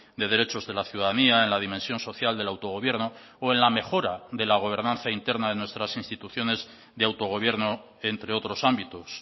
de derechos de la ciudadanía en la dimensión social del autogobierno o en la mejora de la gobernanza interna de nuestras instituciones de autogobierno entre otros ámbitos